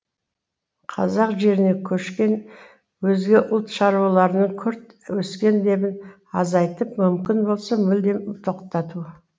қазақ жеріне көшкен өзге ұлт шаруаларының күрт өскен лебін азайтып мүмкін болса мүлдем тоқтату